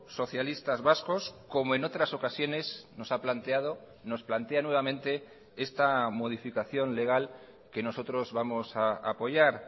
socialistas vascos como en otras ocasiones nos ha planteado nos plantea nuevamente esta modificación legal que nosotros vamos a apoyar